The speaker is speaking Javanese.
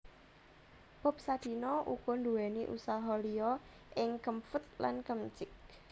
Bob Sadino uga nduwèni usaha liya ing Kemfood lan Kemchick